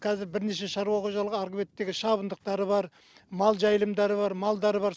қазір бірнеше шаруа қожалығы арғы беттегі шабындықтары бар мал жайылымдары бар малдары бар